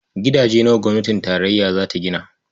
Gidaje nawa gwamnatin tarayya za ta gina?